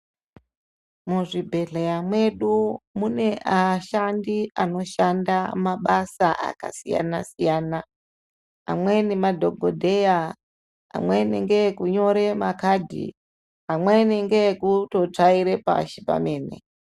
Muzvibheshoeya medu mune ashandi anoshanda mabasa akasiyana siyana amweni madhokodheya, amenities ngeekunyore makhadhi amweni ngeekutotsvaire pashi pemene.